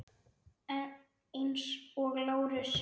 Eins og Lárus.